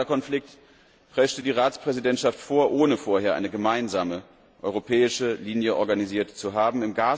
Im Gaza Konflikt preschte die Ratspräsidentschaft vor, ohne vorher eine gemeinsame europäische Linie organisiert zu haben.